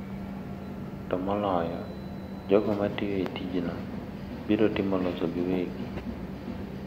to moloyo, jogo ma tiyo e tijno biro timo loso giwegi.